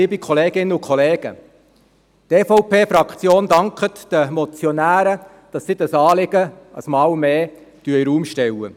Die EVP-Fraktion dankt den Motionären, dass dieses Anliegen aufgegriffen wurde.